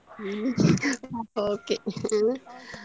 ಹಾ okay ಹಾ.